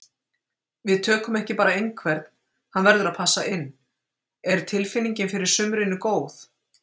Við tökum ekki bara einhvern, hann verður að passa inn. Er tilfinningin fyrir sumrinu góð?